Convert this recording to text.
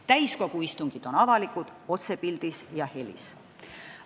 Täiskogu istungid on avalikud, need on otsepildis ja -helis rahvale kättesaadavad.